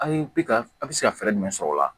A ye bi ka a bɛ se ka fɛɛrɛ jumɛn sɔrɔ o la